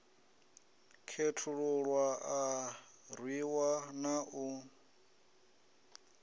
khethululwa a rwiwa na u